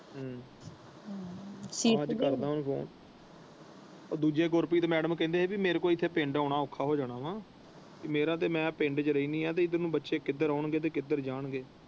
ਅੱਜ ਕਰਦਾ ਹਾਂ ਉਹਨੂੰ ਫੋਨ ਉਹ ਦੂਜੇ ਗੁਰਪ੍ਰੀਤ ਮੈਡਮ ਕਹਿੰਦੇ ਸੀ ਕਿ ਮੇਰੇ ਕੋਲ ਪਿੰਡ ਆਉਣਾ ਔਖਾ ਹੋ ਜਾਣਾ ਵਾ ਤੇ ਮੇਰਾ ਤੇ ਮੈਂ ਪਿੰਡ ਵਿੱਚ ਰਹਿੰਦੀ ਹਾਂ ਤੇ ਇੱਧਰ ਨੂੰ ਬੱਚੇ ਕਿੱਧਰ ਆਉਣ ਗਏ ਤੇ ਕਿੱਧਰ ਜਾਣ ਗਏ।